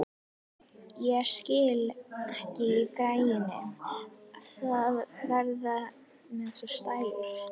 Ég skil ekki í gæjanum að vera með svona stæla!